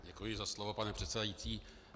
Děkuji za slovo, pane předsedající.